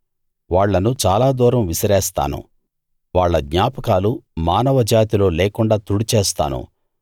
వాళ్ళను చాలా దూరం విసిరేస్తాను వాళ్ళ జ్ఞాపకాలు మానవ జాతిలో లేకుండా తుడిచేస్తాను